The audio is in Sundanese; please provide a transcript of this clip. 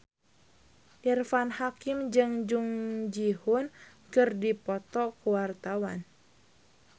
Irfan Hakim jeung Jung Ji Hoon keur dipoto ku wartawan